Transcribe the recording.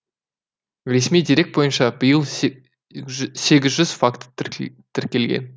ресми дерек бойынша биыл сегіз жүз факті тіркелген